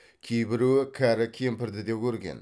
кейбіреуі кәрі кемпірді де көрген